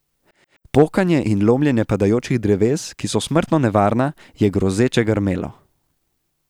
Pokanje in lomljenje padajočih dreves, ki so smrtno nevarna, je grozeče grmelo.